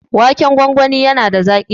Waken gwangwani na da zaƙi.